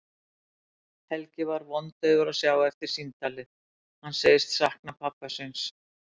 Helgi er vondaufur að sjá eftir símtalið, hann segist sakna pabba síns.